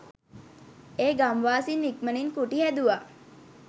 ඒ ගම්වාසීන් ඉක්මණින් කුටි හැදුවා.